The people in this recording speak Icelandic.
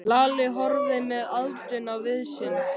Lalli og horfði með aðdáun á vin sinn.